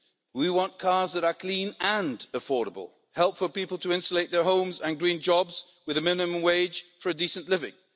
We want cars that are clean and affordable, help for people to insulate their homes and green jobs with the minimum wage for a decent living.